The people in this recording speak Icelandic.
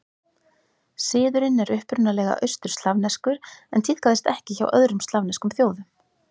Siðurinn er upprunalega austur-slavneskur en tíðkaðist ekki hjá öðrum slavneskum þjóðum.